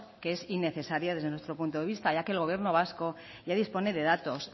que es innecesaria desde nuestro punto de vista ya que el gobierno vasco ya dispone de datos